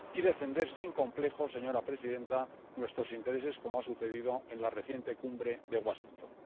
y defender, sin complejos, señora presidenta, nuestros intereses, como ha sucedido en la reciente Cumbre de Washington.